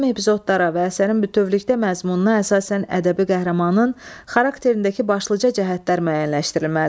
Mühüm epizodlara və əsərin bütövlükdə məzmununa əsasən ədəbi qəhrəmanın xarakterindəki başlıca cəhətlər müəyyənləşdirilməlidir.